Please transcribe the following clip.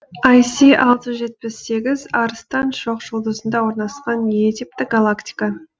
ай си алты жүз жетпіс сегіз арыстан шоқжұлдызында орналасқан е типті галактика